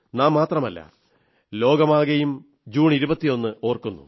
നിങ്ങൾ മാത്രമല്ല നാം മാത്രമല്ല ലോകമാകെയും ജൂൺ 21 ഓർക്കുന്നു